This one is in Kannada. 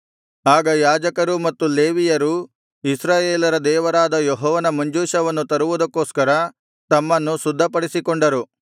ಆಗ ಯಾಜಕರೂ ಮತ್ತು ಲೇವಿಯರೂ ಇಸ್ರಾಯೇಲರ ದೇವರಾದ ಯೆಹೋವನ ಮಂಜೂಷವನ್ನು ತರುವುದಕ್ಕೋಸ್ಕರ ತಮ್ಮನ್ನು ಶುದ್ಧಪಡಿಸಿಕೊಂಡರು